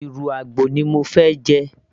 ìrù àgbò ni mo fẹ́ jẹ